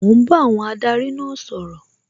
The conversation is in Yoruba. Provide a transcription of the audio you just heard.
Mò ń bá àwọn adarí náà sọ̀rọ̀